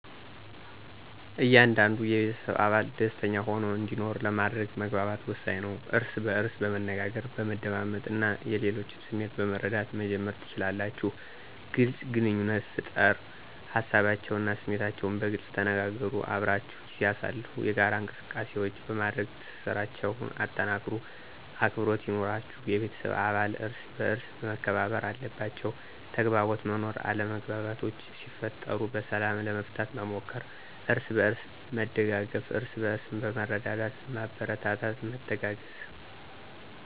እያንዳንዱ የቤተሰብ አባል ደሰተኛ ሆኖ እንዲኖር ለማድረግ መግባባት ወሳኝ ነው። እርስ በእርስ በመነጋገር፣ በመደማመጥ እና የሌሎችን ስሜት በመረዳት መጀመር ትችላላችሁ። __ግልፅ ግንኙነት ፍጠር ሀሳባቸውን እና ስሜታችሁን በግልፅ ተነጋገሩ። _አብራችሁ ጊዜ አሳልፉ የጋራ እንቅሰቃሴዎች በማድረግ ትስስራቸሁን አጠናክሩ። _አክብሮት ይኑራችሁ የቤተሰብ አባለት እርሰበአርስ መከባበር አለባቸዉ። _ተግባቦት መኖር አለመግባባቶች ሲፈጠሩ በሰላም ለመፍታት መሞከር። አርስበእርስ መደጋገፍ እርስበእርስ በመረዳዳትና በማበረታታት መተጋገዝ።